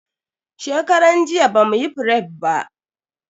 Shekaran jiya bamuyi fref ba.